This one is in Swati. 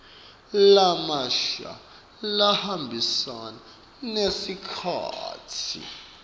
lamasha lahambisana nesikhatsi